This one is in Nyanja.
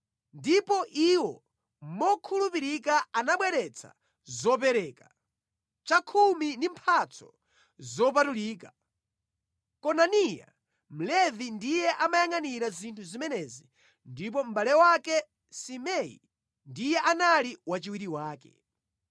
Ndipo iwo mokhulupirika anabweretsa zopereka, chakhumi ndi mphatso zopatulika. Konaniya Mlevi ndiye amayangʼanira zinthu zimenezi ndipo mʼbale wake Simei ndiye anali wachiwiri wake.